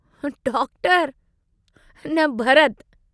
Doctor... न भरत्!